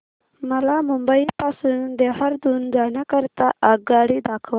मला मुंबई पासून देहारादून जाण्या करीता आगगाडी दाखवा